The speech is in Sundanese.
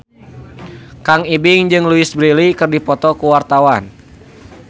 Kang Ibing jeung Louise Brealey keur dipoto ku wartawan